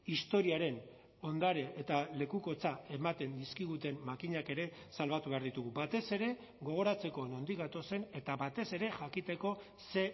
historiaren ondare eta lekukotza ematen dizkiguten makinak ere salbatu behar ditugu batez ere gogoratzeko nondik gatozen eta batez ere jakiteko ze